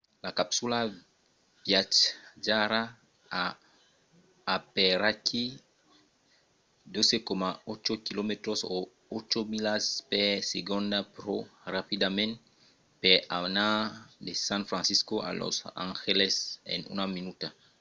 la capsula viatjarà a aperaquí 12,8 km o 8 milas per segonda pro rapidament per anar de san francisco a los angeles en una minuta